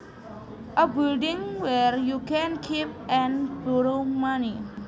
A building where you can keep and borrow money